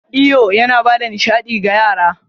Iyo yana ba da nishaɗi ga yara.